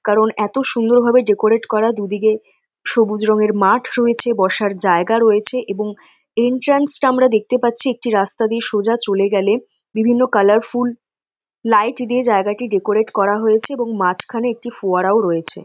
কারন এতো সুন্দর ভাবে ডেকোরেন্ট করা দুদিকে সবুজ রঙের মাঠ রয়েছে বসার জায়গা রয়েছে এবং এন্ট্রান্স -রা আমরা দেখতে পাচ্ছি একটি রাস্তা দিয়ে সোজা চলে গেলে বিভিন্ন কালারফুল লাইট দিয়ে জায়গাটি ডেকোরেন্ট করা হয়েছে মাঝখানে একটি ফোয়ারাও রয়েছে।